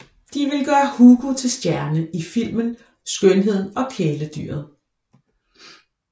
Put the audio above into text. De vil gøre Hugo til stjerne i filmen Skønheden og kæledyret